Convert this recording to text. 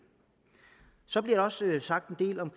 så bliver der også sagt en del om